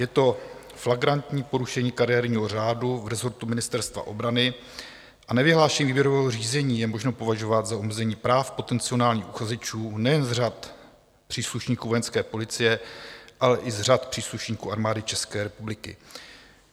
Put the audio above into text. Je to flagrantní porušení kariérního řádu v rezortu Ministerstva obrany a nevyhlášení výběrového řízení je možno považovat za omezení práv potenciálních uchazečů nejen z řad příslušníků Vojenské policie, ale i z řad příslušníků Armády České republiky.